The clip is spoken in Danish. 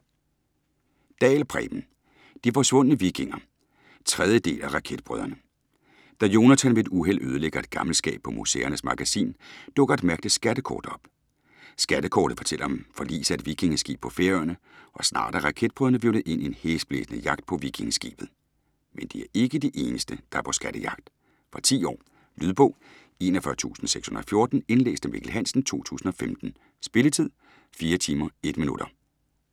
Dahl, Preben: De forsvundne vikinger 3. del af Raketbrødrene. Da Jonathan ved et uheld ødelægger et gammelt skab på Museernes Magasin, dukker et mærkeligt skattekort op. Skattekortet fortæller om forliset af et vikingeskib på Færøerne, og snart er Raketbrødrene hvirvlet ind i en hæsblæsende jagt på vikingeskibet. Men de er ikke de eneste, der er på skattejagt. Fra 10 år. Lydbog 41614 Indlæst af Mikkel Hansen, 2015. Spilletid: 4 timer, 1 minutter.